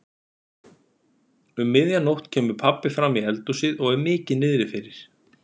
Um miðja nótt kemur pabbi framí eldhúsið og er mikið niðrifyrir.